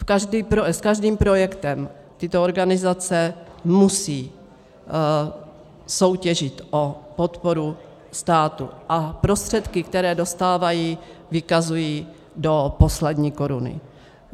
S každým projektem tyto organizace musí soutěžit o podporu státu a prostředky, které dostávají, vykazují do poslední koruny.